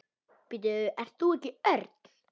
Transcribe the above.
Ert þú ekki Örn?